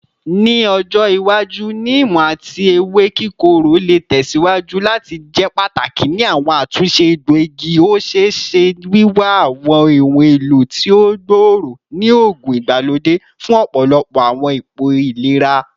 Ni ojo iwaju, neem ati ewe kikoro le tẹsiwaju lati jẹ pataki ni awọn atunṣe egboigi, o ṣee ṣe wiwa awọn ohun elo ti o gbooro ni oogun igbalode fun ọpọlọpọ awọn ipo ilera.